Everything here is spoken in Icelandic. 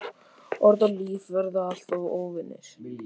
Orð og líf verða alltaf óvinir.